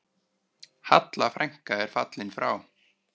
Halla frænka er fallin frá.